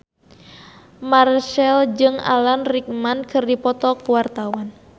Marchell jeung Alan Rickman keur dipoto ku wartawan